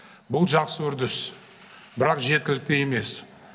бұл жақсы үрдіс бірақ жеткілікті емес